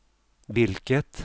vilket